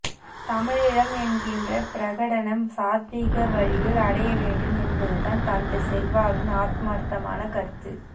தமிழீழம் என்கின்ற பிரகடணம் சாத்வீக வழியில் அடைய வேண்டும் என்பதுதான் தந்தை செல்வாவின் ஆத்மார்த்தமான கருத்து